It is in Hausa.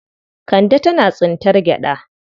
Kande tana tsintar gyaɗa.